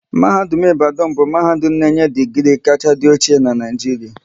Mahadum nke Ibadan bụ mahadum na-enye digri kacha dị ochie n'Naijiria